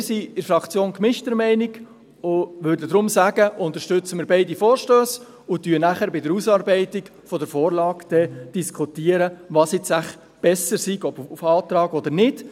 Wir sind in der Fraktion gemischter Meinung und würden deshalb sagen: Unterstützen wir beide Vorstösse und diskutieren dann bei der Ausarbeitung der Vorlage, was wohl besser ist, auf Antrag oder nicht.